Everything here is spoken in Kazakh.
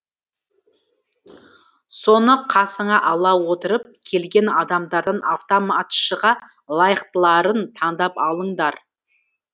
соны қасыңа ала отырып келген адамдардан автоматшыға лайықтыларын тандап алыңдар